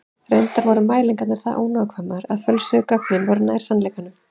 Reyndar voru mælingarnar það ónákvæmar að fölsuðu gögnin voru nær sannleikanum.